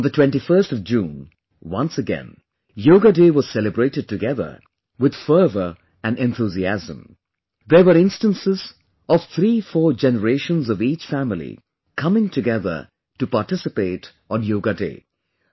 On 21st June, once again, Yoga Day was celebrated together with fervor and enthusiasm, there were instances of threefour generations of each family coming together to participate on Yoga Day